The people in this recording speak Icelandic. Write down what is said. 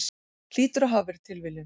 Hlýtur að hafa verið tilviljun.